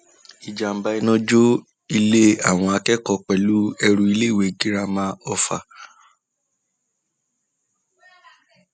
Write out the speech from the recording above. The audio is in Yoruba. ìjàḿbà um iná jó ilé àwọn akẹkọọ pẹlú èrú níléèwé girama um ọfà